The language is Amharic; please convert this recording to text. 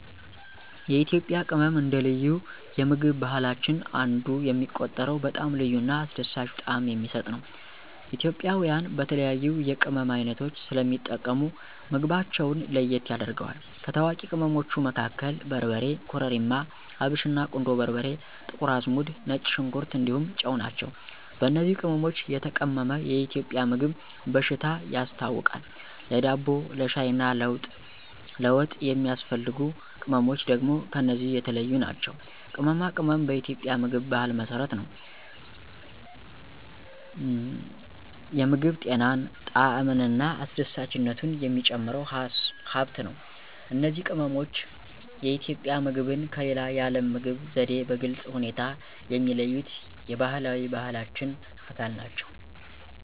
የኢትዮጵያ ቅመም አንደ ልዩ የምግብ ባህላችን አንዱ የሚቆጠረው በጣም ልዩ እና አስደሳች ጣዕም የሚሰጥ ነው። ኢትዮጵያውያን በተለያዩ የቅመም ዓይነቶች ስለሚጠቀሙ ምግባቸውን ለየት ያደርገዋል። ከታዋቂ ቅመሞቹ መካከል በርበሬ, ኮረሪማ፣ አብሽና, ቁንዶ በርበሬ፣ ጥቁር አዝሙድ፣ ነጭ ሽንኩር እንዲሁም ጨው ናቸው። በእነዚህ ቅመሞች የተቀመመ የኢትዮጵያ ምግብ በሽታ ያስታውቃል፣ ለዳቦ፣ ለሻይ እና ለወጥ የሚያስፈልጉ ቅመምች ደግም ከነዚህ የተለዮ ናቸው። ቅመማ ቅመም በኢትዮጵያ የምግብ ባህል መሰረት ነው፤ የምግብ ጤናን፣ ጣዕምን እና አስደሳችነቱን የሚጨምር ሃብት ነው። እነዚህ ቅመሞች የኢትዮጵያ ምግብን ከሌላ የዓለም ምግብ ዘዴ በግልጽ ሁኔታ የሚለዩት የባህላዊ ባህላችን አካል ናቸው።